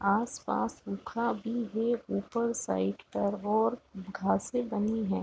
आस-पास भी है ऊपर साइड पर और घासे बनी है।